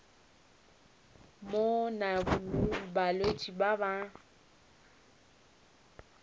mo na balwetši ba ba